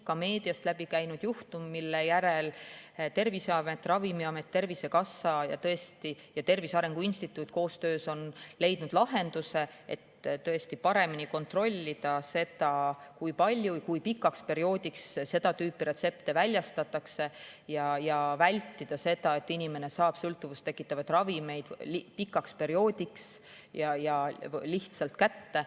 Ka meediast on läbi käinud juhtum, mille järel Terviseamet, Ravimiamet, Tervisekassa ja Tervise Arengu Instituut on koostöös leidnud lahenduse, et tõesti paremini kontrollida seda, kui palju ja kui pikaks perioodiks seda tüüpi retsepte väljastatakse, ja vältida seda, et inimene saab sõltuvust tekitavaid ravimeid pikaks perioodiks ja lihtsalt kätte.